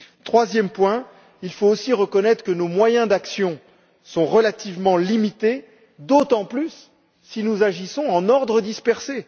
Troisième point, il faut aussi reconnaître que nos moyens d'action sont relativement limités, d'autant plus si nous agissons en ordre dispersé.